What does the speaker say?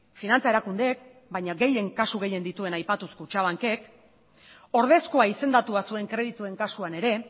finantza erakundeek baina kasu gehien dituen aipatuz kutxabankek ordezkoa izendatua zuen kredituen kasuan ere